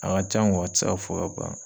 A ka can a ti se ka fɔ ka ban.